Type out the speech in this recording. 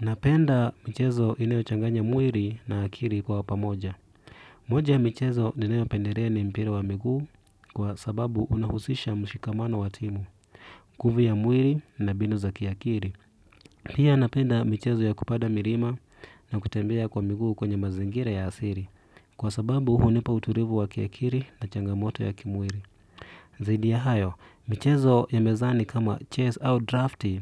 Napenda michezo inayochanganya mwili na akili kwa pamoja. Moja ya michezo ninayopendelea ni mpira wa miguu kwa sababu unahusisha mshikamano wa timu, nguvu ya mwili na mbinu za kiakili. Pia napenda michezo ya kupanda milima na kutembea kwa miguu kwenye mazingira ya asili kwa sababu hunipa utulivu wa kiakili na changamoto ya kimwili. Zaidi ya hayo, michezo ya mezani kama chess au drafti